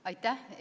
Aitäh!